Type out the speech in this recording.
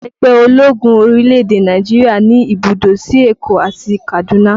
Ẹgbẹ́ ológun orílẹ̀-èdè Nàìjíríà ní ibùdó sí Èkó àti Kaduna